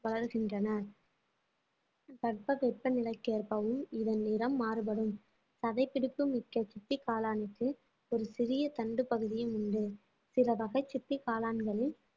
வளருகின்றன தட்பவெப்பநிலைக்கேற்பவும் இதன் நிறம் மாறுபடும் சதைப்பிடிப்பு மிக்க சிப்பிக் காளானுக்கு ஒரு சிறிய தண்டு பகுதியும் உண்டு சில வகை சிப்பி காளான்களில்